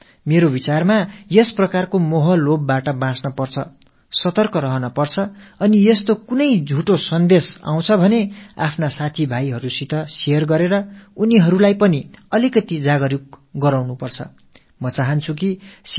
இந்த மோகத்திலிருந்து நாம் நம்மைத் தற்காத்துக் கொள்ள வேண்டும் என்று நான் கருதுகிறேன் விழிப்போடு இருக்க வேண்டும் என்று விரும்புகிறேன் இது போன்ற கடிதங்கள் வந்தால் அவற்றை உடனடியாக நமக்குத் தெரிந்தவர்கள் நண்பர்களோடு பகிர்ந்து கொண்டு அவர்களுக்கும் விழிப்புணர்வு ஏற்படுத்த உதவ வேண்டும்